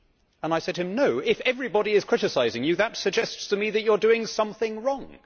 and I said to him No, if everybody is criticising you, that suggests to me that you are doing something wrong'.